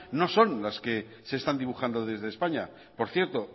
no son las que se están dibujando desde españa por cierto